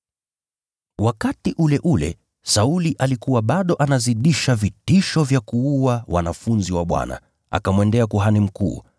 Wakati ule ule, Sauli alikuwa bado anazidisha vitisho vya kuua wanafunzi wa Bwana, akamwendea kuhani mkuu,